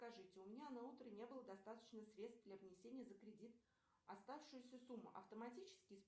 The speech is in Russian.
скажите у меня на утро не было достаточно средств для внесения за кредит оставшуюся сумму автоматически